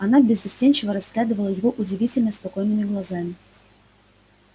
она беззастенчиво разглядывала его удивительно спокойными глазами